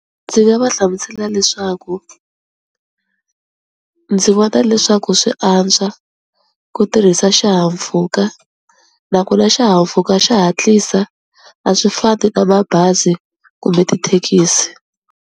Ndzi nga va hlamusela leswaku ndzi vona leswaku swi antswa ku tirhisa xihahampfhuka, nakona xihahampfhuka xa hatlisa a swi fani na mabazi kumbe tithekisi.